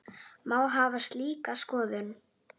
Má hafa slíka skoðun?